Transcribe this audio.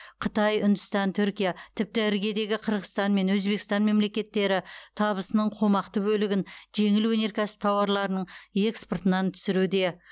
қытай үндістан түркия тіпті іргедегі қырғызстан мен өзбекстан мемлекеттері табысының қомақты бөлігін жеңіл өнеркәсіп тауарларының экспортынан түсіруде